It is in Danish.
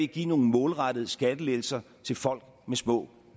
give nogle målrettede skattelettelser til folk med små